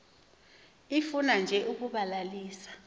ifuna nje ukubalalisa